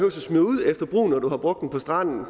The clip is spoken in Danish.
at smide ud efter brug når man feks har brugt den på stranden